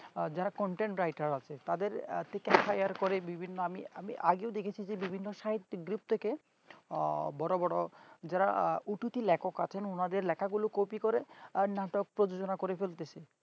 যারা content writer র তাদের এত আর পরে বিভিন্ন আমি আমি আগেও দেখেছি বিভিন্ন site দিক থেকে বড় বড় যারা উঠতি লেখক আছেন ওনাদের লেখাগুলো copy করে আর নাটক প্রযোজনা করে চলতেছে